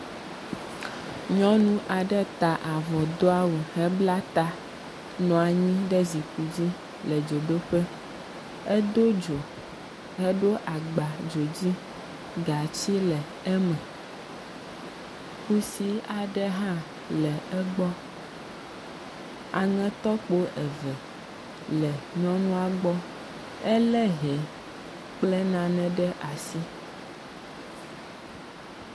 Nyɔnu aɖe ta avɔ do awu hebla ta nɔ anyi ɖe zikpui dzi le dzodoƒe. Edo dzo heɖo agba dzo dzi, gatsi le eme. Kusi aɖe hã le egbɔ. Aŋetɔkpo eve la nyɔnua gbɔ. Ele hɛ kple nanɛ ɖe asi.